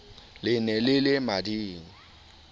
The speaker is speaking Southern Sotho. le ne le le mading